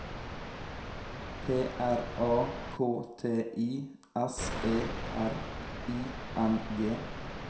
P R A K T I S E R I N G